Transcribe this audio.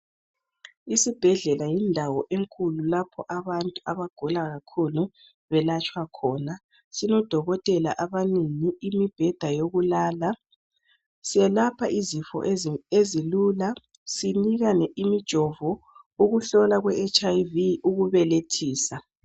Isibhedlela yindawo enkulu lapho abantu abagula kakhulu belatshwa khona. Sinodokotela abanengi, imibheda yokulala. Selapha izifo ezilula, sinikane imijovo, ukuhlolwa kweHIV, ukubelethisa.